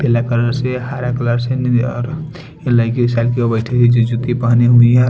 पीला कलर से हरा कलर से और बैठी हुई है जो जूती पहनी हुई है।